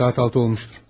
Saat 6 olmuşdur.